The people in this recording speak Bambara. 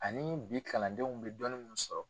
Ani bi kalandenw bi dɔnniw sɔrɔ